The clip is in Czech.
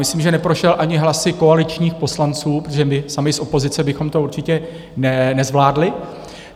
Myslím, že neprošel ani hlasy koaličních poslanců, protože my sami z opozice bychom to určitě nezvládli.